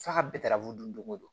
F'a ka bɛɛ tarafu don o don